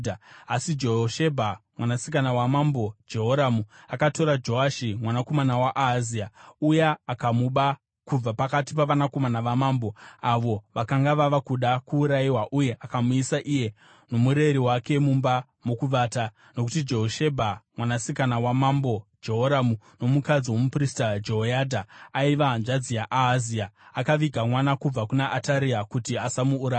Asi Jehoshebha, mwanasikana waMambo Jehoramu akatora Joashi mwanakomana waAhazia uya akamuba kubva pakati pavanakomana vamambo avo vakanga vava kuda kuurayiwa uye akamuisa iye nomureri wake mumba mokuvata. Nokuti Jehoshebha, mwanasikana wamambo Jehoramu nomukadzi womuprista Jehoyadha, aiva hanzvadzi yaAhazia, akaviga mwana kubva kuna Ataria kuti asamuuraya.